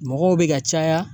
Mɔgɔw bɛ ka caya